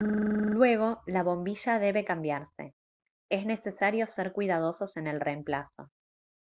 luego la bombilla debe cambiarse es necesario ser cuidadosos en el reemplazo